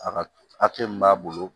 A ka min b'a bolo